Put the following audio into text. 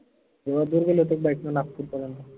एवढ्या दूर गेले होते का? bike न नागपूर पर्यंत